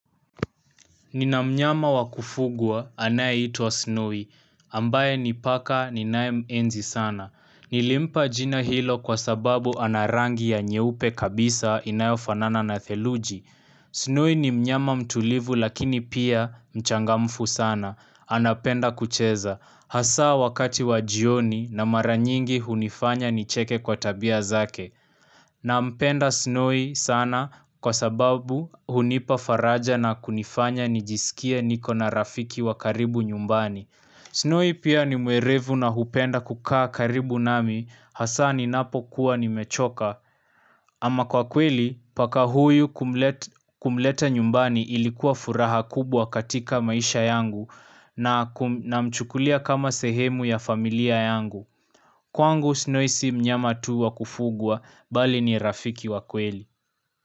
Nina mnyama wa kufugwa anayeitwa Snowy ambaye ni paka ninayemenzi sana. Nilimpa jina hilo kwa sababu ana rangi ya nyeupe kabisa inayofanana na theluji. Snowy ni mnyama mtulivu lakini pia mchangamfu sana. Anapenda kucheza. Hasa wakati wa jioni na mara nyingi hunifanya nicheke kwa tabia zake. Nampenda Snowy sana kwa sababu hunipa faraja na kunifanya nijisikie niko na rafiki wa karibu nyumbani. Snowy pia ni mwerevu na hupenda kukaa karibu nami hasa ninapokuwa nimechoka. Ama kwa kweli paka huyu kumleta nyumbani ilikuwa furaha kubwa katika maisha yangu. Na mchukulia kama sehemu ya familia yangu. Kwangu Snowy si mnyama tu wa kufugwa bali ni rafiki wa kweli.